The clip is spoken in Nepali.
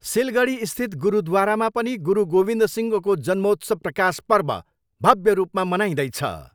सिलगढीस्थित गुरुद्वारामा पनि गुरु गोविन्द सिंहको जन्मोत्सव प्रकाश पर्व भव्य रूपमा मनाइँदैछ।